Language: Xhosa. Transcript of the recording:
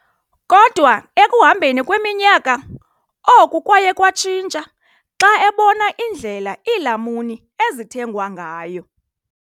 Kodwa ekuhambeni kweminyaka, oku kwaye kwatshintsha xa ebona indlela iilamuni ezithengwa ngayo.